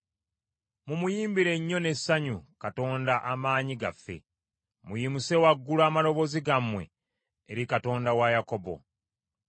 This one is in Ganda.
Mumuyimbire nnyo n’essanyu Katonda amaanyi gaffe; muyimuse waggulu amaloboozi gammwe eri Katonda wa Yakobo!